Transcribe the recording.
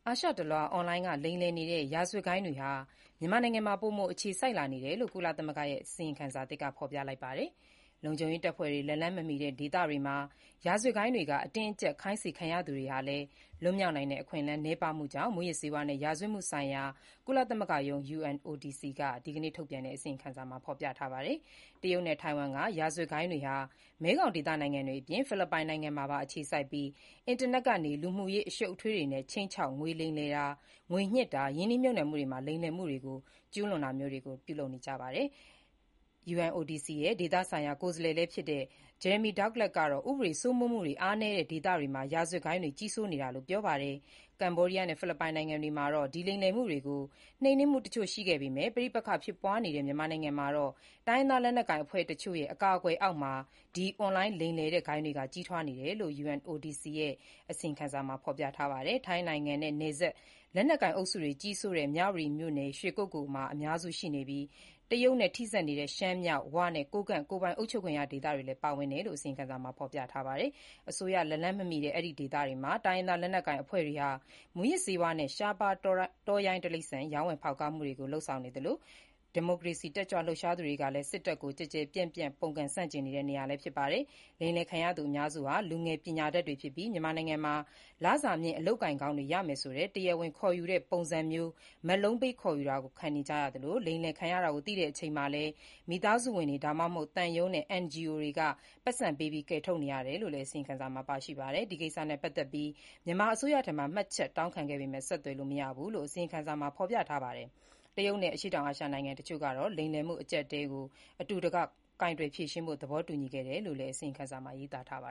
ာရှတလွှား အွန်လိုင်းက လိမ်လည်နေတဲ့ ရာဇဝတ်ဂိုဏ်းတွေဟာ မြန်မာနိုင်ငံမှာ ပိုမိုအခြေစိုက်လာနေကြောင်း ကုလသမဂ္ဂရဲ့ အစီရင်ခံစာသစ်က ဖော်ပြလိုက်ပါတယ်။ လုံခြုံရေးတပ်ဖွဲ့တွေ လက်လှမ်းမမှီတဲ့ ဒေသတွေမှာ ရာဇဝတ်ဂိုဏ်းတွေက အတင်းအကြပ် ခိုင်းစေခံရသူတွေဟာလည်း လွတ်မြောက်နိုင်တဲ့ အခွင့်အလမ်း နည်းပါးကြောင်း မူးယစ်ဆေးဝါးနဲ့ ရာဇဝတ်မှုဆိုင်ရာ ကုလသမဂ္ဂရုံး (UNODC) က ဒီကနေ့ ထုတ်ပြန်တဲ့ အစီရင်ခံစာမှာ ဖော်ပြထားတာပါ။ တရုတ်နဲ့ ထိုင်ဝမ်က ရာဇဝတ်ဂိုဏ်းတွေဟာ မဲခေါင်ဒေသနိုင်ငံတွေအပြင် ဖိလစ်ပိုင်နိုင်ငံမှာပါ အခြေစိုက်ပြီး၊ အင်တာနက်ကနေ လူမှုရေး အရှုပ်အထွေးတွေနဲ့ ခြိမ်းခြောက် လိမ်လည်တာ၊ ငွေညစ်တာ၊ ရင်းနှီးမြှုပ်နှံမှုတွေမှာ လိမ်လည်မှုတွေ ကျုးလွန်နေတာပါ။ အစီရင်ခံစာရေးသားရာမှာ ပါဝင်သူလည်းဖြစ်၊ UNODC ဒေသဆိုင်ရာကိုယ်စားလှယ်လည်း ဖြစ်တဲ့ Jeremy Douglas ကတော့ ဥပဒေစိုးမိုးမှုတွေ အားနည်းတဲ့ ဒေသတွေမှာ ရာဇဝတ်ဂိုဏ်းတွေ ကြီးစိုးနေတာလို့ ပြောပါတယ်။ ကမ္ဘောဒီးယားနဲ့ ဖိလစ်ပိုင်နိုင်ငံတွေမှာ ဒီလိမ်လည်မှုတွေကို နှိမ်နင်းမှု တချို့ ရှိခဲ့ပေမယ့် ပဋိပက္ခဖြစ်ပွားနေတဲ့ မြန်မာနိုင်ငံမှာတော့ တိုင်းရင်းသားလက်နက်ကိုင်အဖွဲ့တချို့ရဲ့ အကာအကွယ်အောက်မှာ ဒီအွန်လိုင်း လိမ်လည်တဲ့ ဂိုဏ်းတွေက ကြီးထွားနေတယ်လို့ ကုလသမဂ္ဂ မူးယစ်ဆေးဝါးနဲ့ ရာဇဝတ်မှုဆိုင်ရာရုံးရဲ့ အစီရင်ခံစာမှာ ဖော်ပြထားပါတယ်။ ထိုင်းနိုင်ငံနဲ့နယ်စပ် လက်နက်ကိုင်အုပ်စုတွေ ကြီးစိုးတဲ့ မြဝတီမြို့နယ် ရွှေကုက္ကိုလ်မှာ အများစု ရှိနေပြီး၊ တရုတ်နဲ့ ထိစပ်နေတဲ့ ရှမ်းမြောက် "ဝ" နဲ့ ကိုးကန့် ကိုယ်ပိုင်အုပ်ချုပ်ခွင့်ရ ဒေသတွေ ပါဝင်တယ်လို့လည်း အစီရင်ခံစာမှာ ဖော်ပြထားပါတယ်။ အစိုးရလက်လှမ်းမမှီတဲ့ ဒီဒေသတွေမှာ တိုင်းရင်းသား လက်နက်ကိုင်အဖွဲ့တွေဟာ မူးယစ်ဆေးဝါးနဲ့ ရှားပါး တောရိုင်းတိရစ္ဆာန် ရောင်းဝယ်ဖောက်ကားမှုတွေကို လုပ်ဆောင်နေသလို၊ ဒီမိုကရေစီရေး တက်ကြွလှုပ်ရှားသူတွေက စစ်တပ်ကို ကျယ်ကျယ်ပြန့်ပြန့် ပုန်ကန် ဆန့်ကျင်နေတဲ့နေရာလည်း ဖြစ်ပါတယ်။ လိမ်လည်ခံရသူအများစုဟာ လူငယ် ပညာတတ်တွေဖြစ်ပြီး၊ မြန်မာနိုင်ငံမှာ လစာမြင့် အလုပ်အကိုင်ကောင်းတွေ ရမယ်ဆိုတဲ့ တရားဝင်ခေါ်ယူတဲ့ ပုံစံမျိုး မက်လုံးပေး ခေါ်ယူတာကို ခံကြရသလို၊ လိမ်လည်ခံရတာကို သိတဲ့ အချိန်မှာလည်း မိသားစုဝင်တွေ၊ ဒါမှမဟုတ် သံရုံးနဲ့ NGO တွေကနေ ပိုက်ဆံပေးပြီး ကယ်ထုတ်နေရတယ်လို့လည်း အစီရင်ခံစာမှာ ပါရှိပါတယ်။ ဒီကိစ္စနဲ့ ပတ်သက်ပြီး မြန်မာအစိုးရထံမှာ မှတ်ချက်တောင်းခံပေမယ့် ဆက်သွယ်လို့ မရဘူးလို့ အစီရင်ခံစာမှာ ဖော်ပြထားပါတယ်။ တရုတ်နဲ့ အရှေ့တောင်အာရှနိုင်ငံအချို့ကတော့ လိမ်လည်မှုအကျပ်အတည်းကို အတူတကွ ကိုင်တွယ်ဖြေရှင်းဖို့ သဘောတူညီခဲ့တယ်လို့ အစီရင်ခံစာမှာ ရေးသားထားပါ